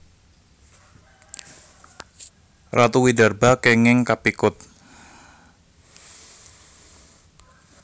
Ratu Widarba kènging kapikut